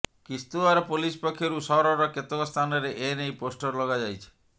Kishtwar police ପକ୍ଷରୁ ସହରର କେତେକ ସ୍ଥାନରେ ଏନେଇ ପୋଷ୍ଟର ଲଗାଯାଇଛି